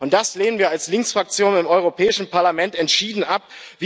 Das lehnen wir als Linksfraktion im Europäischen Parlament entschieden ab.